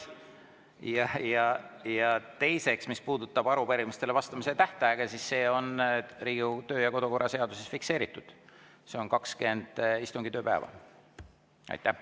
Ja teiseks , mis puudutab arupärimistele vastamise tähtaega, siis see on Riigikogu kodu- ja töökorra seaduses fikseeritud: see on 20 istungipäeva.